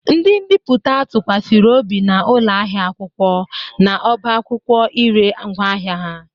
Ndi mbiputa tụkwasịrị obi na ụlọ ahịa akwụkwọ na ọbá akwụkwọ i ree ngwaahịa ha.